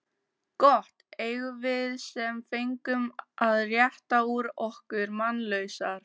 Gott eigum við sem fengum að rétta úr okkur mannlausar.